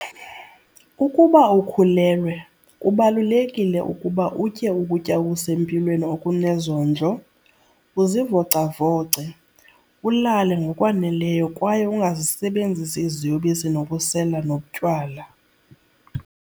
Ukuba ukhulelwe, kubalulekile ukuba utye ukutya okusempilweni okunezondlo, uzivocavoce, ulale ngokwaneleyo kwaye ungazisebenzisi iziyobisi nokusela notywala.